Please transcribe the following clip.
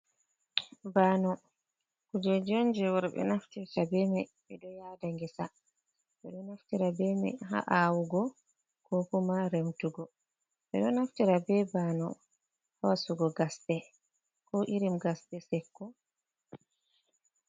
Bano kujeji on je worɓɓe naftirta bema, ɓe ɗo yada ngesa, ɓeɗo naftira be man ha’awugo ko kuma remtugo, ɓe ɗo naftira be bano ha wasugo gasɗe ko iri gasɗe sekko.